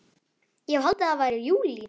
Ég hefði haldið að það væri júlí.